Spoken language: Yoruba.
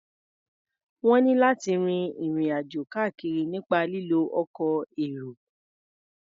Wọ́n ní láti rin ìrìn-àjò káàkiri nípa lílo ọkọ̀ èrò.